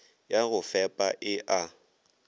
ya go fepa e a